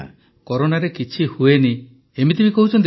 ପ୍ରଧାନମନ୍ତ୍ରୀ କରୋନାରେ କିଛି ହୁଏନି ଏମିତି କହୁଛନ୍ତି କି